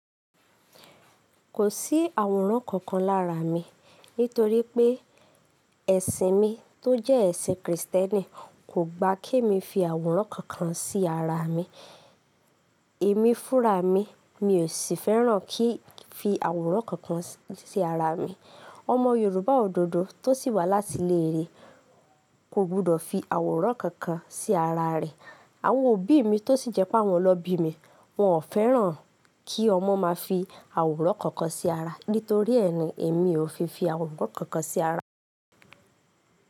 Kò sí àwòrán kankan lára mi nítorí pé ẹ̀sìn mi tó jẹ́ ẹ̀sìn Krìstẹ́nì kò gba kemi fi àwòrán kankan sí ara mi. Èmi fúnra mi, mi ò sì fẹ́ràn kí n fi àwòrán kankan sí ara mi. Ọmọ Yorùbá òdodo tó sì wá láti ilé re, kò gbọdọ̀ fi àwòrán kankan sí ara rẹ̀. Àwọn òbí mi tó sì jẹ́ pé àwọn lọbí mi, wọn ò fẹ́ràn kí ọmọ má fi àwòrán kankan sí ara nítorí ẹni, èmi ò fi fi àwòrán kankan sí ara.